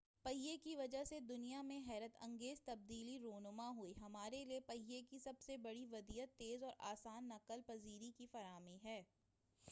پہیہ کی وجہ سے دنیا میں حیرت انگیز تبدیلی رونما ہوئی ہے ہمارے لئے پہیہ کی سب سے بڑی ودیعت تیز اور آسان نقل پذیری کی فراہمی ہے